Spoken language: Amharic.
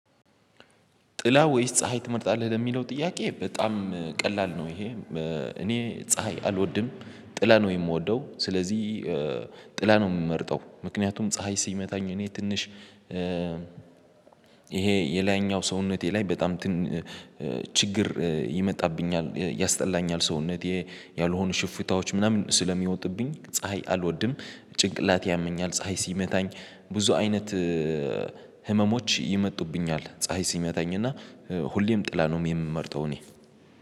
ጥላ ወይስ ፀሀይ ትመርጣለህ ለሚለው ጥያቄ በጣም ቀላል ነው? ይሄ እኔ ፀሀይ አልወድም ጥላ ነው የምወደው ስለዚህ ጥላ ነው የምመርጠው። ምክንያቱም ፀሀይ ሲመታኝ እኔ ትንሽ ይሄ የላይኛው ሰውነቴ ላይ በጣም ችግር ይመጣብኛል ያስጠላኛል። ሰውነቴ ያልሆኑ ሽፍታዎች ምናምን ስለሚወጥብኝ ፀሀይ አልወድም ጭንቅላቴ ያመኛል። ፀሀይ ሲመታኝ ብዙ አይነት ህመሞች ይመጡብኛል ፀሀይ ሲመታኝ እና ሁሌም ጥላ ነው የምመርተው። እኔ